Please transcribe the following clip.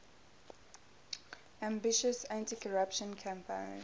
ambitious anticorruption campaign